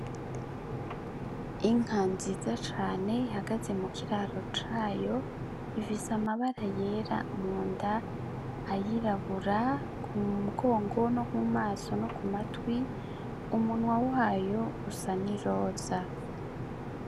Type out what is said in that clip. Inka nziza cane ihagaze mu kiraro cayo ivise amabara yera mu nda ayirabura ku mugongo no mu maso no ku matwi umunwa wayo usa n' iroza.